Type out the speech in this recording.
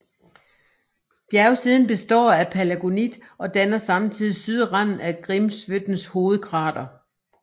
Bjergsiden består af palagonit og danner samtidig sydranden af Grímsvötns hovedkrater